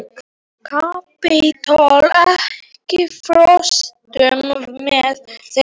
Kapitola, ekki fórstu með þeim?